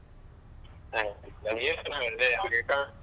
ಹ ನಾನ್ ಏನ್ .